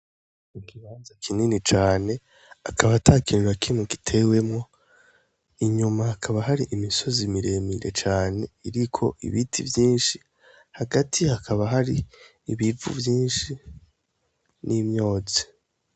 Ikibanza kinini cane, akaba atakintu na kimwe gitewemwo, inyuma hakaba hari imisozi miremire cane iriko ibiti vyinshi, hagati hakaba hari ibivu vyinshi n'imyotsi.